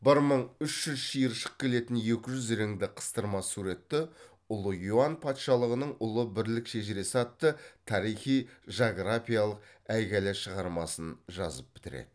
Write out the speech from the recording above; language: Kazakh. бір мың үш жүз шиыршық келетін екі жүз реңді қыстырма суретті ұлы юан патшалығының ұлы бірлік шежіресі атты тарихи жағрапиялық әйгілі шығармасын жазып бітіреді